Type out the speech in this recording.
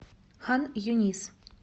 хан юнис